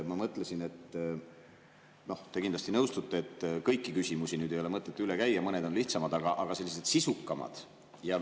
Te kindlasti nõustute, et kõiki küsimusi ei ole mõtet üle käia, sest mõned on lihtsamad, mõned on sisukamad.